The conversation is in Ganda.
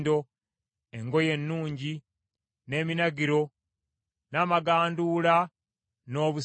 engoye ennungi, n’eminagiro, n’amaganduula, n’obusawo,